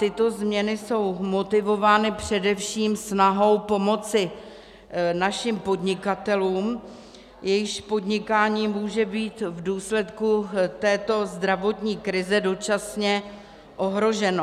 Tyto změny jsou motivovány především snahou pomoci našim podnikatelům, jejichž podnikání může být v důsledku této zdravotní krize dočasně ohroženo.